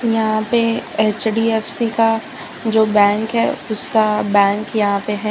यहां पे एच_डी_एफ_सी का जो बैंक है उसका बैंक यहां पे है।